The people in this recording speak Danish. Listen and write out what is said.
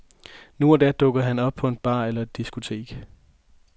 Nu og da dukker han op på en bar eller et diskotek.